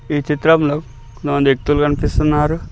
ఈ చిత్రంలో కొంతమంది వ్యక్తులు గన్పిస్తున్నారు.